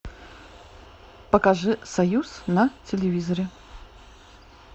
покажи союз на телевизоре